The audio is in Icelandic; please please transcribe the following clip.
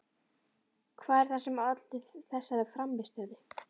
Hvað er það sem olli þessari frammistöðu?